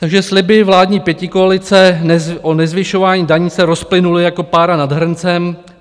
Takže sliby vládní pětikoalice o nezvyšování daní se rozplynuly jako pára nad hrncem.